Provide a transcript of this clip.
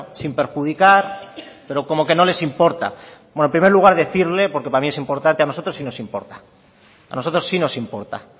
sin perjudicar pero como que no les importa bueno en primer lugar decirle porque para mí es importante a nosotros sí nos importa a nosotros sí nos importa